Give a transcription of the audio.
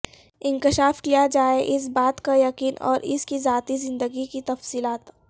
انکشاف کیا جائے اس بات کا یقین اور اس کی ذاتی زندگی کی تفصیلات